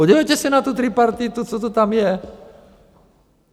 Podívejte se na tu tripartitu, co to tam je.